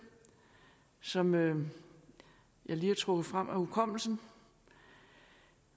som jeg lige har trukket frem af hukommelsen